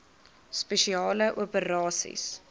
spesiale operasies dso